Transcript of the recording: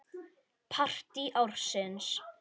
Partí ársins?